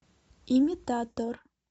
имитатор